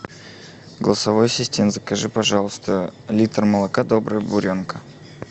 голосовой ассистент закажи пожалуйста литр молока добрая буренка